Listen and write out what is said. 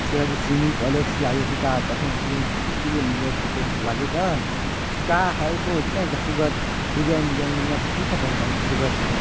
छे आगे सिनीपलेक्स लागे ही का कथे सीमस लगे गा का हरे कोजिन आए को सुग्घर डिजाइन - डिजाइन मने मस्त दिखत ए हा सुग्घर - सुग्घर --